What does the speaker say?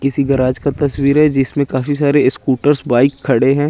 किसी गराज का तस्वीर हैं जिसमें काफी सारे स्कूटर्स बाइक खड़े हैं।